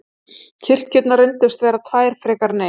Kirkjurnar reyndust vera tvær frekar en ein.